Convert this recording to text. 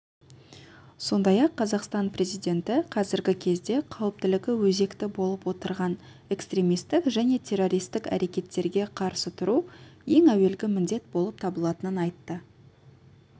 сондай-ақ қазақстан президенті қазіргі кезде қауіптілігі өзекті болып отырған экстремистік және террористік әрекеттерге қарсы тұру ең әуелгі міндет болып табылатынын айтты